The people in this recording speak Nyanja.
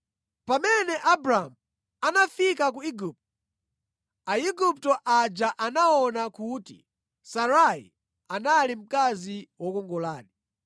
Pamene Abramu anafika ku Igupto, Aigupto aja anaona kuti Sarai anali mkazi wokongoladi.